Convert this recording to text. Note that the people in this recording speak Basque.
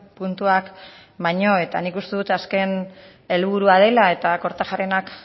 puntuak baino eta nik uste dut azken helburua dela eta kortajarena